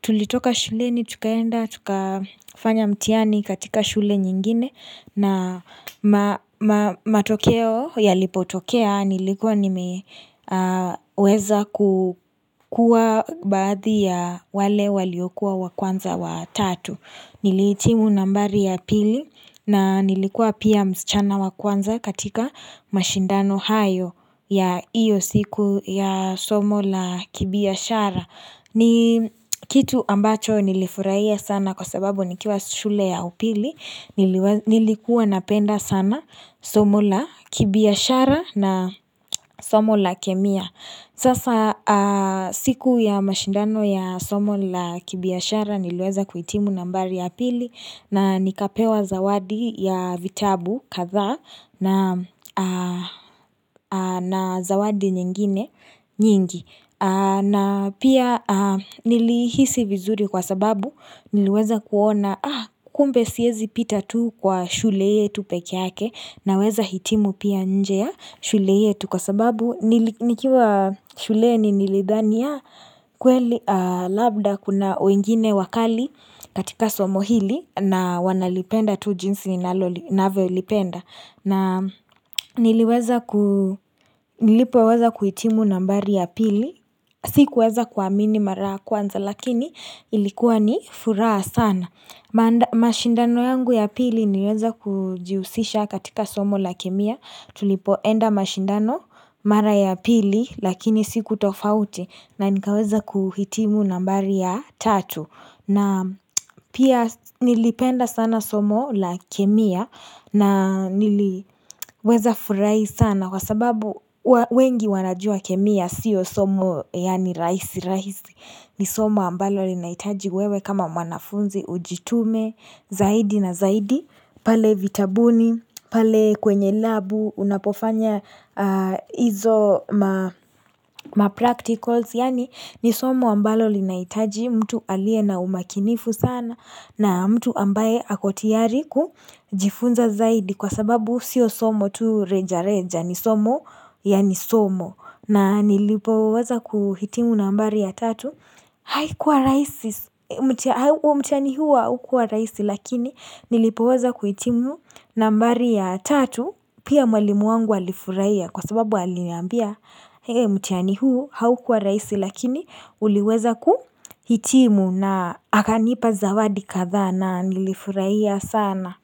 Tulitoka shule ni tukaenda, tukafanya mtihani katika shule nyingine na matokeo yalipotokea nilikuwa nimeweza kukuwa baadhi ya wale waliokuwa wa kwanza wa tatu Nilihitimu nambari ya pili na nilikuwa pia msichana wa kwanza katika mashindano hayo ya hiyo siku ya somo la kibiashara ni kitu ambacho nilifurahia sana kwa sababu nikiwa shule ya upili nilikuwa napenda sana somo la kibiashara na somo la kemia Sasa siku ya mashindano ya somo la kibiashara niliweza kuhitimu nambari ya pili na nikapewa zawadi ya vitabu kadhaa na zawadi nyingine nyingi na pia nilihisi vizuri kwa sababu niliweza kuona kumbe siwezi pita tu kwa shule yetu pekeyake naweza hitimu pia nje ya shule yetu kwa sababu nikiwa shuleni nilidhani kweli labda kuna wengine wakali katika somo hili na wanalipenda tu jinsi ninavyolipenda. Na niliweza ku, nilipo weza kuhitimu nambari ya pili, siku weza kuamini mara kwanza lakini ilikuwa ni furaha sana. Mashindano yangu ya pili niliweza kujihusisha katika somo la kemia, tulipoenda mashindano mara ya pili lakini siku tofauti na nikaweza kuhitimu nambari ya tatu. Na pia nilipenda sana somo la kemia na niliweza furahi sana kwa sababu wengi wanajua kemia sio somo yaani rahisi, rahisi ni somo ambalo linaitaji wewe kama wanafunzi ujitume, zaidi na zaidi, pale vitabuni, pale kwenye labu, unapofanya hizo ma practicals. Yaani ni somo ambalo linaitaji mtu aliye na umakinifu sana na mtu ambaye ako tayari kujifunza zaidi kwa sababu sio somo tu reja reja ni somo ya ni somo. Na nilipoweza kuhitimu nambari ya tatu haikuwa rahisi mtihani huu haukuwa rahisi lakini nilipoweza kuhitimu nambari ya tatu pia mwalimu wangu alifurahia kwa sababu aliniambia mtihani huu haukuwa rahisi lakini uliweza kuhitimu na akanipa zawadi kadhaa na nilifurahia sana.